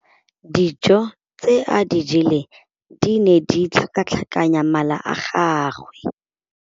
Dijô tse a di jeleng di ne di tlhakatlhakanya mala a gagwe.